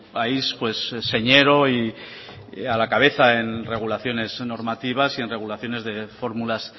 país señero y a la cabeza en regulaciones normativas y en regulaciones de formulas